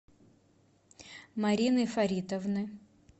марины фаритовны